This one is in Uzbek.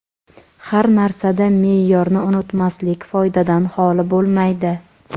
har narsada me’yorni unutmaslik foydadan xoli bo‘lmaydi.